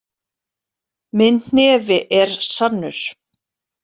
Minn hnefi er sannur.